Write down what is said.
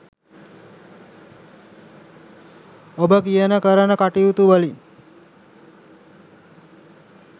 ඔබ කියන කරන කටයුතුවලින්